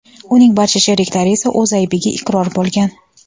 Uning barcha sheriklari esa o‘z aybiga iqror bo‘lgan.